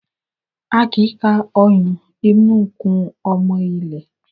A kì í ka oyún inú kún ọmọ ilé.